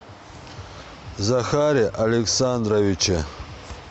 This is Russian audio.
захаре александровиче